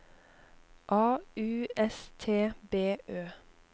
A U S T B Ø